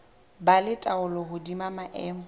ba le taolo hodima maemo